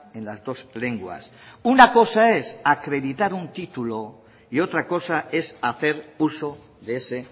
en las dos lenguas una cosa es acreditar un título y otra cosa es hacer uso de ese